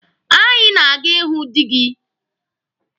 Anyị na-aga ịhụ dị gị.